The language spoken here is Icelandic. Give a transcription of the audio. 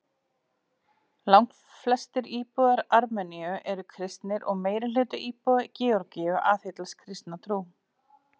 Langflestir íbúar Armeníu eru kristnir og meirihluti íbúa Georgíu aðhyllist kristna trú.